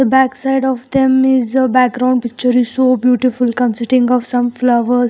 Backside of them is a background picture is so beautiful consiting of some flowers.